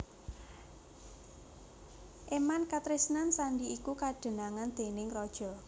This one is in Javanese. Éman katresnan sandhi iku kadenangan déning raja